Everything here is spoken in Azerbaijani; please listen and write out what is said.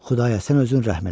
Xudaya sən özün rəhm elə!